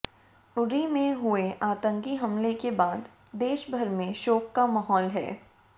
उरी में हुए आतंकी हमले के बाद देशभर में शोक का माहौल है